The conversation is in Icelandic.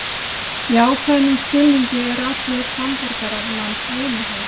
Í ákveðnum skilningi eru allir samborgarar manns vinir hans.